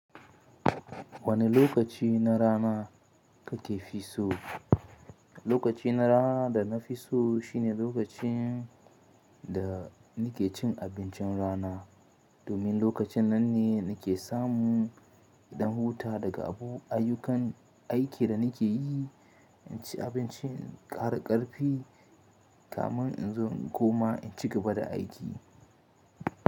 Wani lokaci na rana kuka fi so? Lokaci na rana da na fi so shine lokacin da nike cin abincin rana. Domin lokacin nan ne nike samu ɗan huta daga abubu ayyukan aikin da nike yi, inci abincin ƙara ƙarfi kamin in zo in koma in cigaba da aiki.